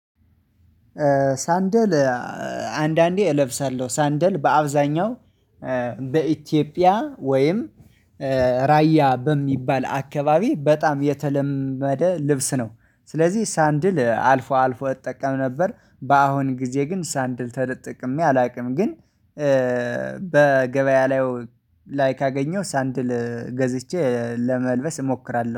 ሳንደል አንዳንዴ እለብሳለሁ ሳንደል በአብዛኛው በኢትዮጵያ ወይም ራያ በሚባል አካባቢ በጣም የተለመደ ልብስ ነው። ስለዚህ ሳንድል አልፎ አልፎ እጠቀም ነበር በአሁን ጊዜ ግን ሳንድል ተጠቅሜ አላውቅም ግን። በገበያ ላይ ላይክ አገኘው ሳንድል ገዝቼ ለመልበስ እሞክራለሁ